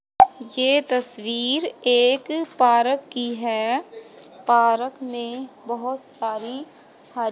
ये तस्वीर एक पारक की है पारक में बहोत सारी ह--